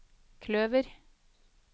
kløver